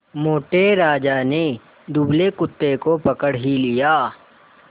मोटे राजा ने दुबले कुत्ते को पकड़ ही लिया